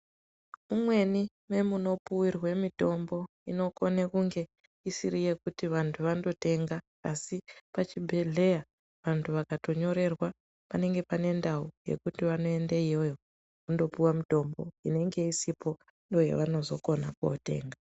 Umweni mwemunopuwirwe mutombo inokone kunge isiri yekuti vantu vandotenga asi pachibhedhleya vantu vakatonyorerwa panenge pane ndau yekuti vanoende iyoyo vonopiwa mitombo inenge isipo ndoyavanozokona kunotenga.